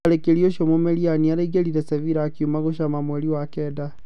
Mũtharĩkĩri ũcio Mumeriani araingĩrire Sevila akiuma Gushama mweri wa Kenda.